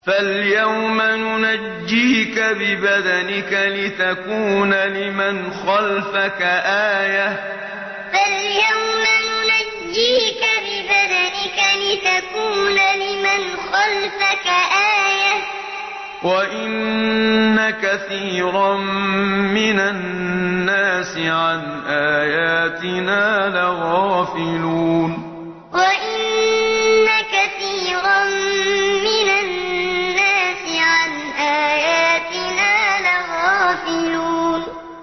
فَالْيَوْمَ نُنَجِّيكَ بِبَدَنِكَ لِتَكُونَ لِمَنْ خَلْفَكَ آيَةً ۚ وَإِنَّ كَثِيرًا مِّنَ النَّاسِ عَنْ آيَاتِنَا لَغَافِلُونَ فَالْيَوْمَ نُنَجِّيكَ بِبَدَنِكَ لِتَكُونَ لِمَنْ خَلْفَكَ آيَةً ۚ وَإِنَّ كَثِيرًا مِّنَ النَّاسِ عَنْ آيَاتِنَا لَغَافِلُونَ